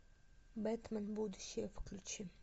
бэтмен будущее включи